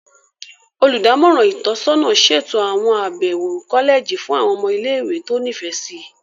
Olùdámọ̀ràn itọsọna ṣeto awọn abẹwo kọlẹji fún àwọn ọmọ ile-iwe ti o nifẹ si.